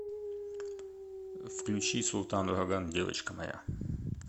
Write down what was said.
включи султан ураган девочка моя